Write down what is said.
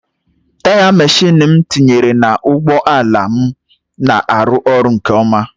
Taya Michelin m tinyere na ụgbọ ala m na-arụ ọrụ nke ọma.